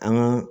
An ga